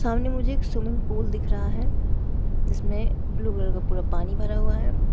सामने मुझे एक स्विमिंग पूल दिख रहा है जिसमें ब्लू कलर का पूरा पानी भरा हुआ है।